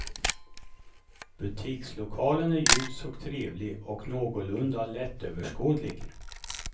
Butikslokalen är ljus och trevlig och någorlunda lättöverskådlig.